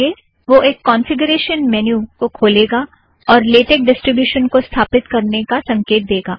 आगे वह एक कौंफ़िगरेशन मैन्यू को खोलेगा और लेटेक डीस्ट्रिब्यूशन को स्थापित करने का संकेत देगा